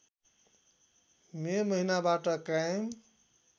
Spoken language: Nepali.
मे महिनाबाट कायम